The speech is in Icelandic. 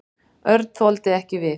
Örn þoldi ekki við.